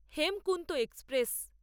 Hemkunt express